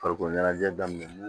Farikolo ɲɛnajɛ daminɛ n'u